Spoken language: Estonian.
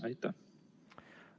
Aitäh!